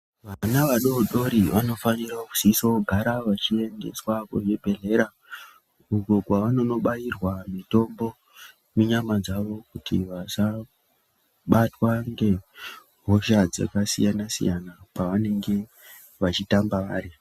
Vana vadodori vaniuko vanonobairwa mutombo munyama dzavo kuti vasabatwa nehosha dzakasiyana-siyana pavanenge vachitamba vari gega.